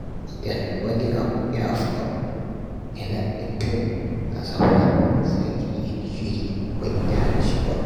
Idan wani abu ya faru, yana da kyau a zauna a sake yin shiri mai dacewa.